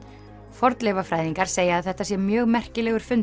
fornleifafræðingar segja að þetta sé mjög merkilegur fundur